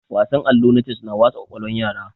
Wasan allo na ces na wasa kwakwalwan yara